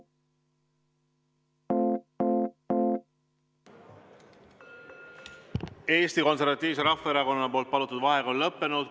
Eesti Konservatiivse Rahvaerakonna palutud vaheaeg on lõppenud.